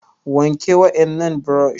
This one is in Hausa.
wanke wa ennan brush